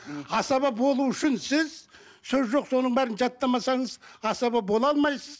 асаба болу үшін сіз сөз жоқ соның бәрін жаттамасаңыз асаба бола алмайсыз